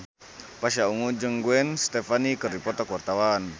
Pasha Ungu jeung Gwen Stefani keur dipoto ku wartawan